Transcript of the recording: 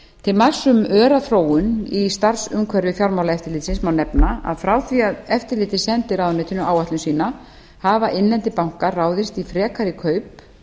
til marks um öra þróun í starfsumhverfi fjármálaeftirlitsins má nefna að frá því að eftirlitið sendi ráðuneytinu áætlun sína hafa innlendir bankar ráðist í frekari kaup